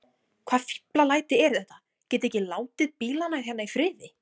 Hvaða fíflalæti eru þetta. getiði ekki látið bílana hérna í friði!